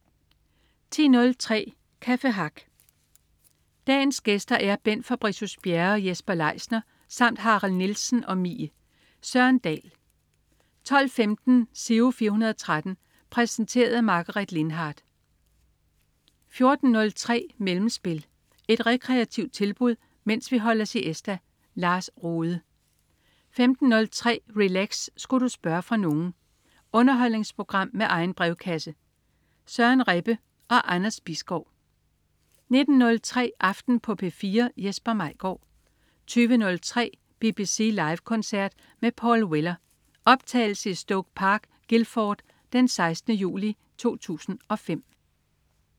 10.03 Café Hack. Dagens gæster er Bent Fabricius Bjerre og Jesper Leisner samt Harald Nielsen og Mie. Søren Dahl 12.15 Giro 413. Præsenteret af Margaret Lindhardt 14.03 Mellemspil. Et rekreativt tilbud, mens vi holder siesta. Lars Rohde 15.03 Relax. Sku' du spørge fra nogen? Underholdningsprogram med egen brevkasse. Søren Rebbe og Anders Bisgaard 19.05 Aften på P4. Jesper Maigaard 20.03 BBC Live koncert med Paul Weller. Optaget i Stoke Park, Guildford den 16. juli 2005